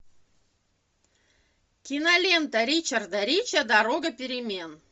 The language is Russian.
кинолента ричарда рича дорога перемен